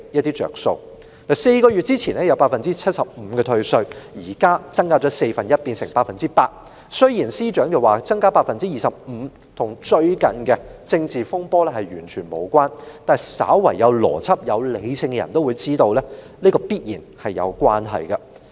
退稅率由4個月前的 75%， 增至現在的 100%， 雖然司長說增加這25個百分點與最近的政治風波完全無關，但稍為有邏輯和理性的人也會知道當中必然有關係。